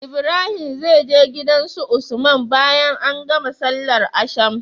Ibrahim zai je gidan su usman bayan an gama sallar asham